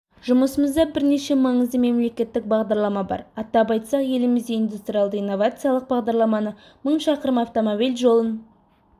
жұмысымызда бірнеше маңызды мемлекеттік бағдарлама бар атап айтсақ елімізде индустриялды-инновациялық бағдарламаны мың шақырым автомобиль жолын